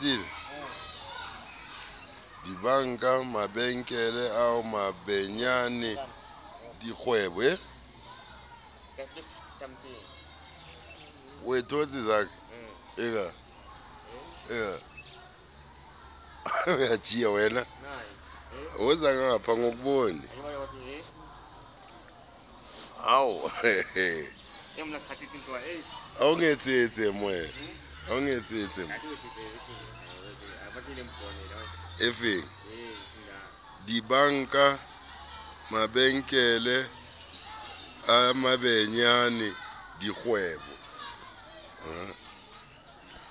dibanka mabenkele a mabenyane dikgwebo